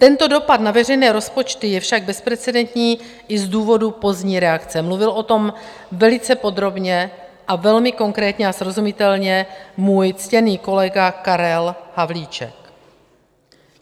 Tento dopad na veřejné rozpočty je však bezprecedentní i z důvodu pozdní reakce, mluvil o tom velice podrobně a velmi konkrétně a srozumitelně můj ctěný kolega Karel Havlíček.